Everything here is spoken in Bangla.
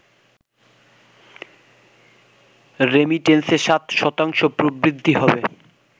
রেমিটেন্সে ৭ শতাংশ প্রবৃদ্ধি হবে